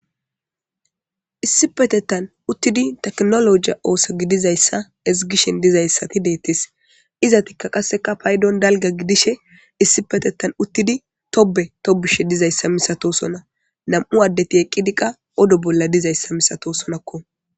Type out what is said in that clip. Issi petettan uttidi teknologiya ooso gidizayssa ezgishen dizayssati deettes izatikka qasseka paydon dalga gidishe issipetetan uttidi tobe tobushe dizayssa misato sona nam'u addeti eqqidi qa odo bolla dizayssa misato sonakko.